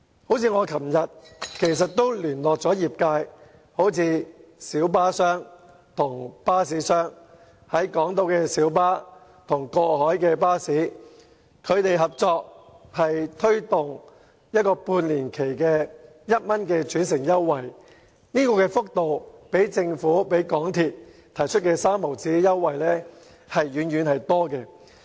我昨天曾聯絡業界，包括小巴商及巴士商，小巴與過海巴士合作在港島區推動一個為期半年的每程1元轉乘優惠，這項優惠的幅度遠較政府和港鐵公司提供的每程3角轉乘優惠為高。